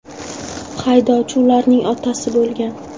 Haydovchi ularning otasi bo‘lgan.